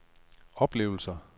oplevelser